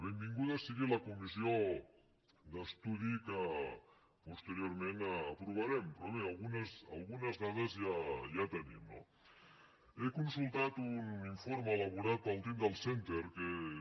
benvinguda sigui la comissió d’estudi que posteriorment aprovarem però bé algunes dades ja tenim no he consultat un informe elaborat pel tyndall centre que és